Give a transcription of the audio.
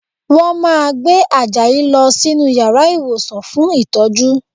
Wọ́n máa gbé Àjàyí lọ sínú yàrá ìwòsàn fún ìtọ́jú